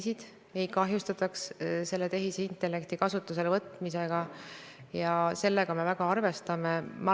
Mis puudutab EAS-i, siis olen siin juba öelnud, et oleme suve algusest saadik EAS-iga põhjalikult tegelenud, et muuta EAS-i tegevus võimalikult efektiivseks, ja see puudutab ka innovatsiooniküsimusi.